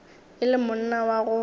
e le monna wa go